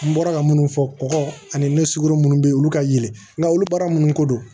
N bɔra ka minnu fɔ kɔgɔ ani ne siguru minnu bɛ yen olu ka yɛlɛ nka olu baara minnu ko don